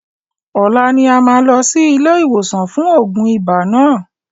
Ọlá ni a máa lọ sí ilé ìwòsàn fún oògùn ibà náà.